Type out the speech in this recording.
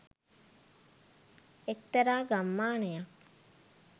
එක්තරා ගම්මානයක්